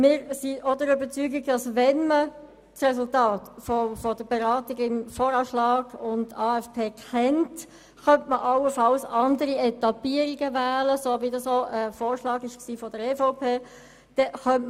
Wir sind auch der Überzeugung, dass man allenfalls auch andere Etappierungen wählen könnte, wenn man das Resultat der Beratung über VA und AFP kennt, wie dies auch einem Vorschlag seitens der EVP entspricht.